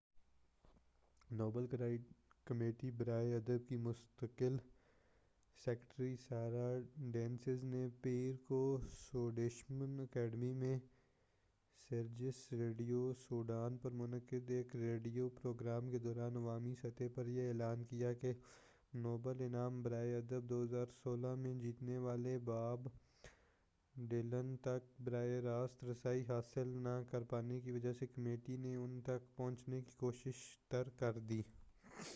Nobel committee برائے ادب کی مستقل سکریٹری سارا ڈینیئس نے پیر کو سویڈش اکیڈمی میں سیرجیس ریڈیو سوڈان پر منعقد ایک ریڈیو پروگرام کے دوران عوامی سطح پر یہ اعلان کیا کہ نوبل انعام برائے ادب 2016 جیتنے والے باب ڈائلن تک براہ راست رسائی حاصل نہ کر پانے کی وجہ سے کمیٹی نے ان تک پہنچنے کی کوشش ترک کر دی